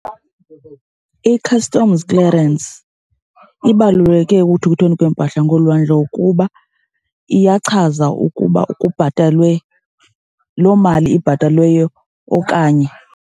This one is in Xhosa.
I-customs clearance ibaluleke ekuthuthweni kweempahla ngolwandle kuba iyachaza ukuba kubhatalwe loo mali ibhatalweyo okanye.